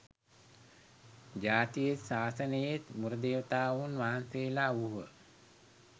ජාතියේත් ශාසනයේත් මුර දේවතාවුන් වහන්සේලා වූහ